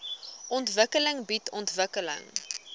ontwikkeling bied ontwikkeling